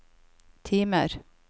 timer